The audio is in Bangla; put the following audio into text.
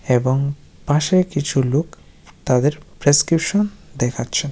এবং পাশে কিছু লোক তাদের প্রেস্ক্রিপ্সন দেখাচ্ছে ।